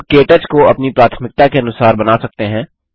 हम के टच को अपनी प्राथमिकता के अनुसार बना सकते हैं